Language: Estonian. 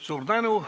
Suur tänu!